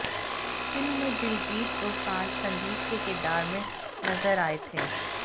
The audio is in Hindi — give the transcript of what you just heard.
फिल्म में दिलजीत दोसांझ संदीप के किरदार में नजर आए थे